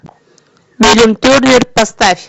поставь